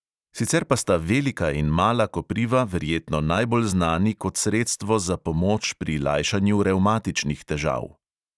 Sicer pa sta velika in mala kopriva verjetno najbolj znani kot sredstvo za pomoč pri lajšanju revmatičnih težav.